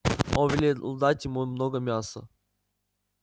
он велел дать ему много мяса